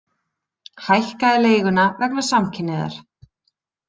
Hækkaði leiguna vegna samkynhneigðar